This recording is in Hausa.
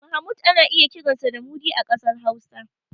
Mahmud ana iya kiransa da Mudi a ƙasar Hausa.